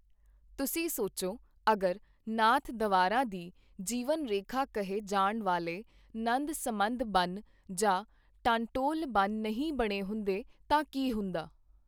ਤੁਸੀਂ ਸੋਚੋ, ਅਗਰ ਨਾਥ-ਦਵਾਰਾ ਦੀ ਜੀਵਨ ਰੇਖਾ ਕਹੇ ਜਾਣ ਵਾਲੇ ਨੰਦ-ਸਮੰਦ ਬੰਨ੍ਹ ਜਾਂ ਟਾਂਟੋਲ ਬੰਨ੍ਹ ਨਹੀਂ ਬਣੇ ਹੁੰਦੇ ਤਾਂ ਕੀ ਹੁੰਦਾ?